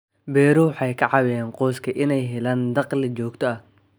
Beeruhu waxay ka caawiyaan qoyska inay helaan dakhli joogto ah.